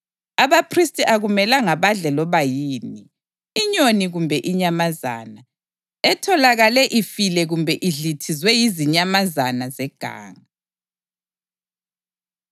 Abaphristi akumelanga badle loba yini, inyoni kumbe inyamazana, etholakale ifile kumbe idlithizwe yizinyamazana zeganga.’ ”